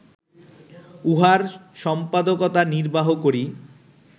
উহার সম্পাদকতা নির্বাহ করি